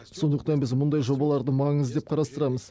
сондықтан біз мұндай жобаларды маңызды деп қарастырамыз